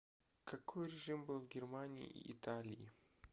какой режим был в германии и италии